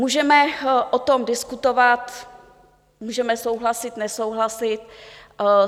Můžeme o tom diskutovat, můžeme souhlasit, nesouhlasit.